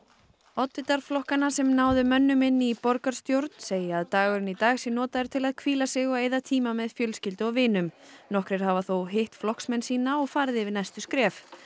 oddvitar flokkanna sem náðu mönnum inn í borgarstjórn segja að dagurinn í dag sé notaður til að hvíla sig og eyða tíma með fjölskyldu og vinum nokkrir hafa þó hitt flokksmenn sína og farið yfir næstu skref